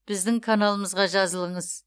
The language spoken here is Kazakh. біздің каналымызға жазылыңыз